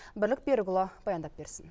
бірлік берікұлы баяндап берсін